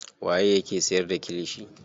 Waye yake siyar da kilishi.